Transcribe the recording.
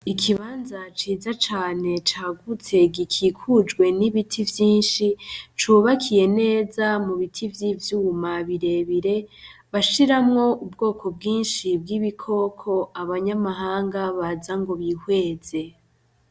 Ikibanza ciza cane cagutse gikikujwe n'ibiti vyinshi cubakiye neza mu biti vy'ivyuma birebire bashiramwo ubwoko bwinshi bw'ibikoko abanyamahanga baza ngo bihweze.